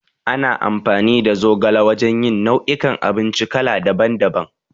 Ana amfani da zogala wajan yin nau'i kan abinci kala daban daban